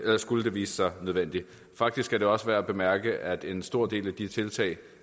skulle vise sig nødvendigt faktisk er det også værd at bemærke at en stor del af de tiltag